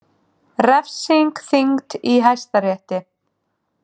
Refsing þyngd í Hæstarétti